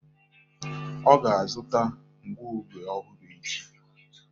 Ọ ga-azụ̀ta ngụoge ọhụrụ echi